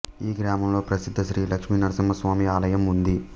ఈ గ్రామంలో ప్రసిద్ధ శ్రీ లక్ష్మీ నరసింహస్వామి ఆలయం ఉంది